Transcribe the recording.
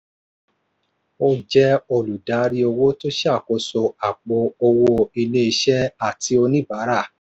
ó jẹ́ olùdarí owó tó ṣàkóso àpò owó ilé-iṣẹ́ àti oníbàárà.